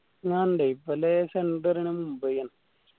ആ ഇണ്ട് ഇവലേ centre എന്നെ മുംബൈ ആണ്